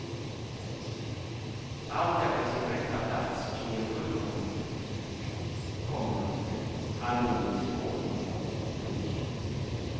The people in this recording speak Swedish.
Allt är på sin rätta plats i en fullkomlig, komma harmonisk ordning. punkt